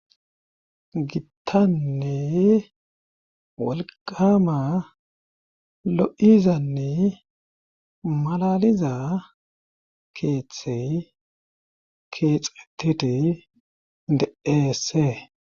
Gittanne wolqama lo'izanne malaliza keeththey keexettite deese.